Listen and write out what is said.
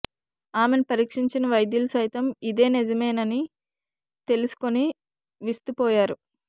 ఆమెను పరీక్షించిన వైద్యులు సైతం ఇదే నిజమేనని తెలుసుకుని విస్తుపోయారు